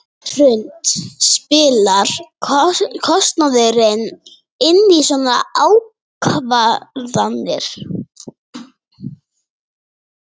Hrund: Spilar kostnaður inn í svona ákvarðanir?